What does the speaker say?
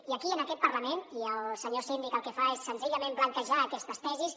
i aquí en aquest parlament i el senyor síndic el que fa és senzillament blanquejar aquestes tesis